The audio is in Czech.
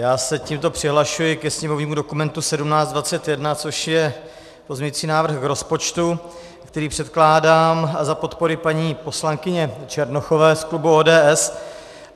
Já se tímto přihlašuji ke sněmovnímu dokumentu 1721, což je pozměňující návrh k rozpočtu, který předkládám za podpory paní poslankyně Černochové z klubu ODS.